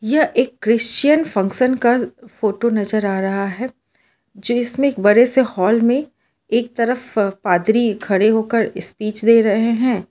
यह एक Christian function का फोटो नजर आ रहा है जो इसमें एक बड़े से हॉल में एक तरफ पादरी खड़े होकर स्पीच दे रहे हैं।